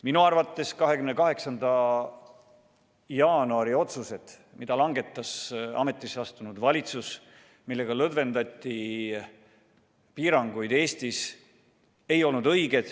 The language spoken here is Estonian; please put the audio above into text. Minu arvates 28. jaanuari otsused, mis langetas ametisse astunud valitsus ja millega lõdvendati piiranguid Eestis, ei olnud õiged.